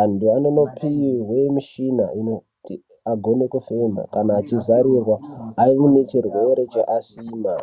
Antu anonopihwe michina inoti agone kufema kana achizarirwa aine chirwere cheasima.